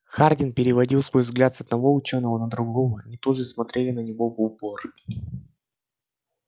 хардин переводил свой взгляд с одного учёного на другого они тоже смотрели на него в упор